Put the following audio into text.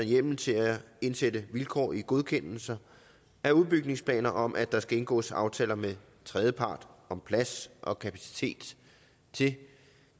hjemmel til at indsætte vilkår i godkendelser af udbygningsplaner om at der skal indgås aftaler med tredjepart om plads og kapacitet til